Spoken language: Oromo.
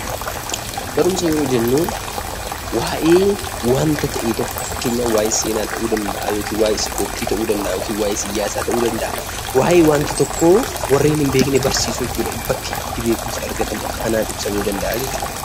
Barumsa jechuun waa'ee wanta tokko fakkeenyaaf waa'ee seenaa, ispoortii, siyaasa fi kan kana fakkaatan nama hin beekne barsiisuu jechuudha.